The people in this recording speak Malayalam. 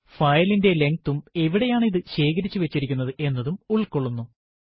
ഫയലിന്റെ length ഉം എവിടെയാണ് ഇത് ശേഖരിച്ചു വച്ചിരിക്കുന്നത് എന്നതും ഉൾകൊള്ളുന്നു